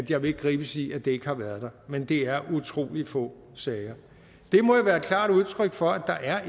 jeg vil ikke gribes i at det ikke har været der men det er utrolig få sager det må jo være et klart udtryk for at der